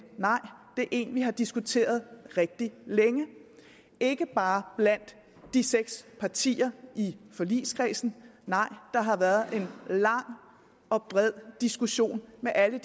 nej det er en vi har diskuteret rigtig længe ikke bare blandt de seks partier i forligskredsen der har været en lang og bred diskussion med alle